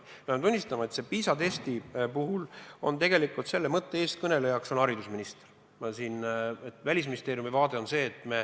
Pean küll tunnistama, et PISA testi puhul on tegelikult selle mõtte eestkõnelejaks haridusminister.